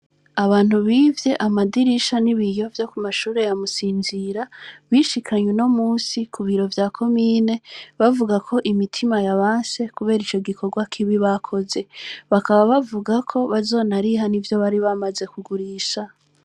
abantu bivye amadirisha n' ibiyo vyo kw' ishure rya Musinzira, bishikanye unomunsi Ku biro vya komine bavuga ko imitima yabanse, kubera ico gikorwa kibi bakoze. Bakaba bavuga ko bazoriha nivyo bari bamaze kugurisha.